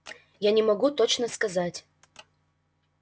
я не могу точно сказать